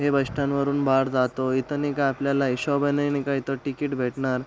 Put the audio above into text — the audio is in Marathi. हे बस स्टँड वरुन बाहेर जातो. इथ नाही का आपल्याला हिशोबाने नाई का तिकीट भेटणार.